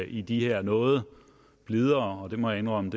i de her noget blidere det må jeg indrømme